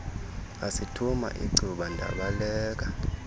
asithuma icuba ndabaleka